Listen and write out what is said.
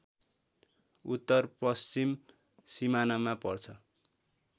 उत्तरपश्चिम सिमानामा पर्छ